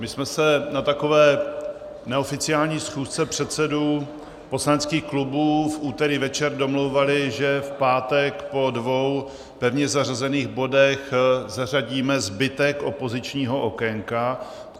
My jsme se na takové neoficiální schůzce předsedů poslaneckých klubů v úterý večer domlouvali, že v pátek po dvou pevně zařazených bodech zařadíme zbytek opozičního okénka.